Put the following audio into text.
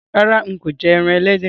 Rárá, n kò je ẹran ẹlẹ́dẹ̀